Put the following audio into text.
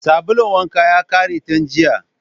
Sabulun wankan ya ƙare tun jiya